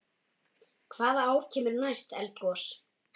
Hvaða ár kemur næst eldgos?